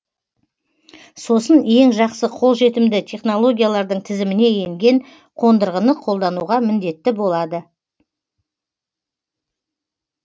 сосын ең жақсы қолжетімді технологиялардың тізіміне енген қондырғыны қолдануға міндетті болады